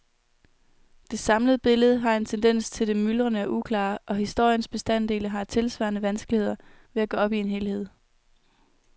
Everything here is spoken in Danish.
Det samlede billede har en tendens til det myldrende og uklare, og historiens bestanddele har tilsvarende vanskeligheder ved at gå op i en helhed.